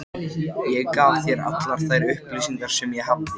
Fegin að Rúna er farin að sýna á sér fararsnið.